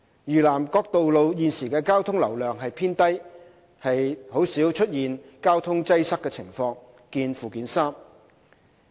嶼南各道路現時的交通流量偏低，鮮有交通擠塞的情況。